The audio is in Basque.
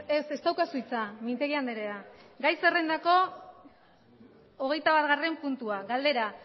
ez ez daukazu hitza mintegi andrea gai zerrendako hogeita batgarrena puntua galdera